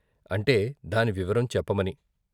అంటే దాని వివరం చెప్పమని.